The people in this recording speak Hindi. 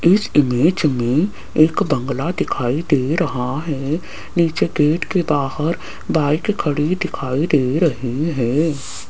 इस इमेज में एक बंगला दिखाई दे रहा है नीचे गेट के बाहर बाइक खड़ी दिखाई दे रही है।